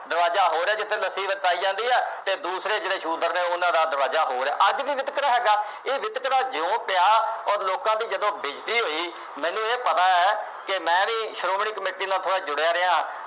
ਦਰਵਾਜ਼ਾ ਹੋਰ ਹੈ ਜਿੱਥੇ ਲੱਸੀ ਵਰਤਾਈ ਜਾਂਦੀ ਹੈ ਅਤੇ ਦੂਸਰੇ ਜਿਹੜੇ ਸ਼ੂਦਰ ਨੇ ਉਹਨਾ ਦਾ ਦਰਵਾਜ਼ਾ ਹੋਰ ਹੈ। ਅੱਜ ਵੀ ਵਿਤਕਰਾ ਹੈਗਾ। ਇਹ ਵਿਤਕਰਾ ਜਿਉਂ ਪਿਆ ਅੋਰ ਲੋਕਾਂ ਤੋਂ ਜਦੋਂ ਹੋਈ ਮੈਨੂੰ ਇਹ ਪਤਾ ਹੈ ਕਿ ਮੈਂ ਵੀ ਸ਼੍ਰੋਮਣੀ ਕਮੇਟੀ ਨਾਲ ਥੋੜ੍ਹਾ ਜੁੜਿਆ ਰਿਹਾ।